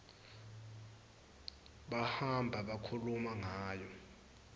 bahamba bakhuluma ngayo